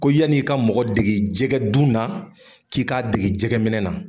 Ko yan'i ka mɔgɔ dege jɛgɛdun na k'i k'a dege jɛgɛminɛ na.